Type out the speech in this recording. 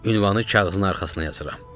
Ünvanı kağızın arxasına yazıram.